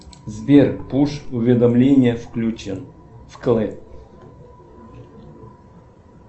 сбер пуш уведомления включен вкл